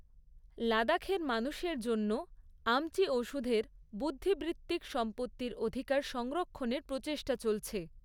লাদাখের মানুষের জন্য আমচি ওষুধের বুদ্ধিবৃত্তিক সম্পত্তির অধিকার সংরক্ষণের প্রচেষ্টা চলছে।